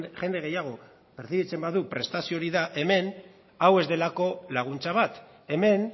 jende gehiago pertzibitzen badu prestazio hori da hemen hau ez delako laguntza bat hemen